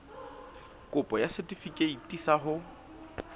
kopo ya setefikeiti sa ho